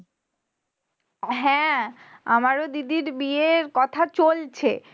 হ্যাঁ, আমার ও দিদির বিয়ের কথা চলছে।